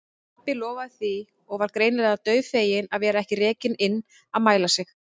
Pabbi lofaði því og var greinilega dauðfeginn að vera ekki rekinn inn að mæla sig.